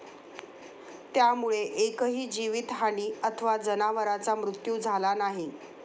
त्यामुळे एकही जीवितहानी अथवा जनावराचा मृत्यू झाला नाही.